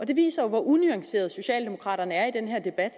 det viser jo hvor unuanceret socialdemokraterne er i den her debat